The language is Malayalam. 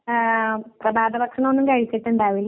ആ കൊള്ളാല്ലോ